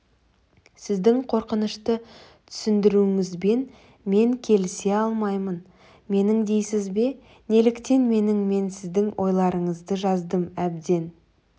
сіздің қорқынышты түсіндіруіңізбен мен келісе алмаймын менің дейсіз бе неліктен менің мен сіздің ойларыңызды жаздым әбден